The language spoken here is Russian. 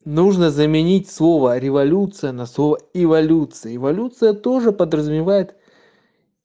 нужно заменить слово революция на слово эволюция эволюция тоже подразумевает